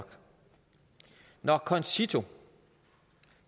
når concito